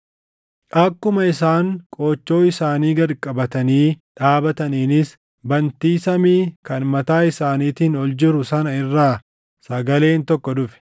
Akkuma isaan qoochoo isaanii gad qabatanii dhaabataniinis bantii samii kan mataa isaaniitiin ol jiru sana irraa sagaleen tokko dhufe.